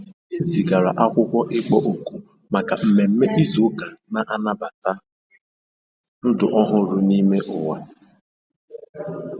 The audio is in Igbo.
E zigara akwụkwọ ịkpọ òkù maka ememe izu ụka na-anabata ndụ ọhụrụ n'ime ụwa.